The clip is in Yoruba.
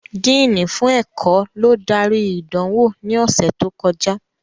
Díìnì fún ẹ̀kọ́ ló darí ìdánwò ní ọ̀sẹ̀ tó kọjá